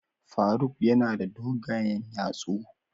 Faruk yana da dogayen yatsu.